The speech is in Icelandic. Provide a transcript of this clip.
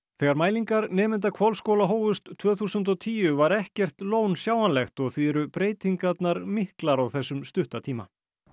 þegar mælingar nemenda Hvolsskóla hófust tvö þúsund og tíu var ekkert lón sjáanlegt og því eru breytingarnar miklar á þessum stutta tíma